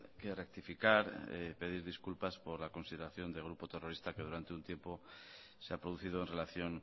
que rectificar pedir disculpas por la consideración de grupo terrorista que durante un tiempo se ha producido en relación